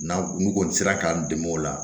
N'an n'u kɔni sera k'an dɛmɛ o la